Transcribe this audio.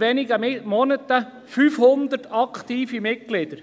wenigen Monaten bereits 500 aktive Mitglieder.